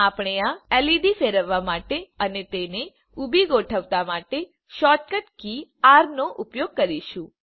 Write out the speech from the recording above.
આપણે આ એલઇડી ફેરવવા માટે અને તેને ઊભી ગોઠવતા માટે શોર્ટકટ કી આર નો ઉપયોગ કરીશું